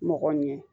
Mɔgɔ ɲɛ